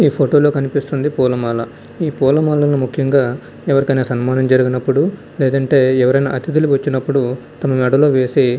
ఈ ఫోటో లో కనిపిస్తుంది పూలమాల. ఈ పూలమాల ముఖ్యంగా ఎవరికైనా సన్మానం జరిగినప్పుడు లేదంటే ఎవరైనా అతిధులు వచ్చినప్పుడు అతని మెడలో వేసి--